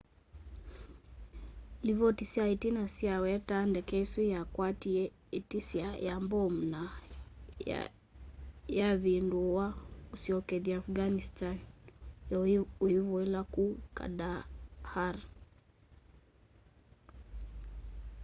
livoti sya itina sya wetaa ndeke isu yakwatie itisya ya mbomu na yavinduwa yasyokethya afghanistan iivuila ku kandahar